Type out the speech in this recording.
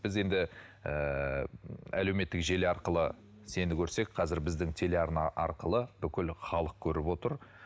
біз енді ыыы әлеуметтік желі арқылы сені көрсек қазір біздің телеарна арқылы бүкіл халық көріп отыр